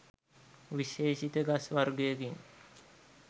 විශේෂිත ගස් වර්ගයකින්.